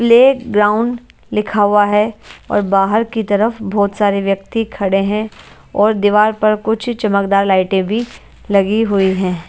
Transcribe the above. Play ground लिखा हुआ हैं और बाहर की तरफ बहोत सारे व्यक्ती खड़े हैं और दीवार पर कुछ चमकदार लाइटें भी लगी हुई हैं।